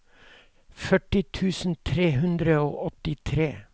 førti tusen tre hundre og åttitre